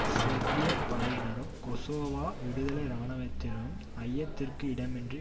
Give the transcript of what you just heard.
சேர்பிய படையினரும் கொசோவா விடுதலை இராணுவத்தினரும் ஐயத்திற்கு இடமின்றி